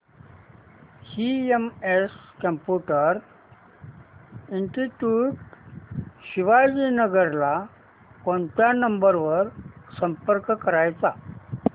CMS computer institute Shivajinagar ला कोणत्या number वर संपर्क करायचा